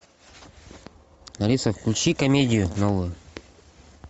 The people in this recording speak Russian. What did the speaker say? алиса включи комедию новую